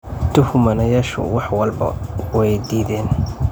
Tuhmanayaashu wax walba way diideen.